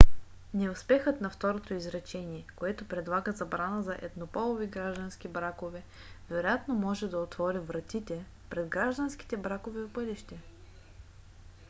неуспехът на второто изречение което предлага забрана на еднополови граждански бракове вероятно може да отвори вратие пред гражданските бракове в бъдеще